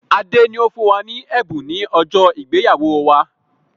Adé ni ó fún wa ní ẹ̀bùn ni ọjọ́ ìgbéyàwó wá.